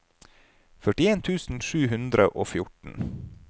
førtien tusen sju hundre og fjorten